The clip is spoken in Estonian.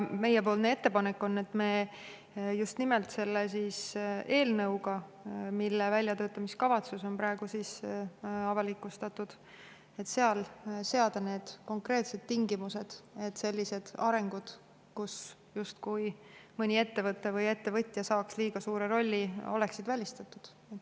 Meie ettepanek on just nimelt selle eelnõuga, mille väljatöötamiskavatsus on praegu avalikustatud, seada konkreetsed tingimused, et sellised arengud, kus justkui mõni ettevõte või ettevõtja saaks liiga suure rolli, oleksid välistatud.